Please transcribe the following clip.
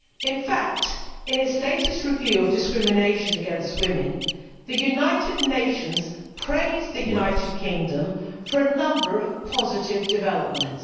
In fact, in its latest review of discrimination against women, the United Nations praised the United Kingdom for a number of positive developments.